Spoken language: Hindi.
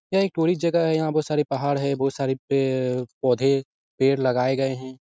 यह एक पूरी जगह है। यहाँ पर सारे पहाड़ है। बहुत सारे पेड़-पौधे पेड़ लगाए गए हैं।